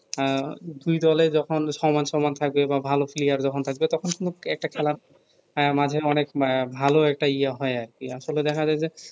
আহ দুই দলের তখন সমান সমান থাকবে বা ভালো player যখন থাকবে যতখন একটা খেলা আহ মাঝে অনেক মা ভালো একটা ইয়া হয় আর কি আসলে দেখা যায় যে